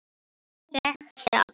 Anton þekkti alla.